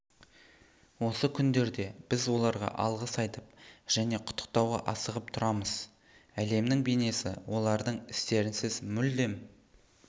осы күндерде біз оларға алғыс айтып және құттықтауға асығып тұрамыз әлемнің бейнесі олардың істерінсіз мүлдем